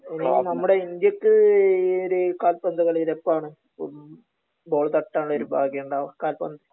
നമ്മുട ഇന്ത്യക്ക് ഈ ഒരു കാൽപ്പന്തു കളിയിൽ എപ്പോഴാണ് ബോൾ തട്ടാൻ ഉള്ള ഒരു ഭാഗ്യം ഉണ്ടാവേ കാൽപന്ത്